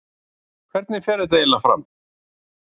Hvernig fer þetta eiginlega fram?